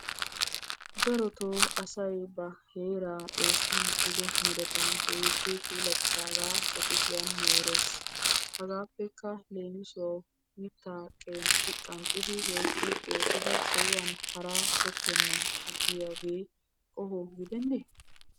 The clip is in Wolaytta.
Darotoo asay ba heeraa Xoossi medhdhido meretan keehippe puulataaga ba kushiyaan moorees. Hagappe leemissuwawu mitta qeexidi woykko qanxxidi haraa sohuwan tokkenan aggiyooge qoho gidenne?